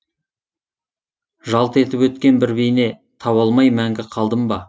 жалт етіп өткен бір бейне таба алмай мәңгі қалдым ба